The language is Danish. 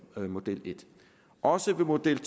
med model i også ved model